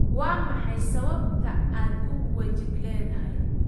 Waa maxay sababta aad u wejigleedahay?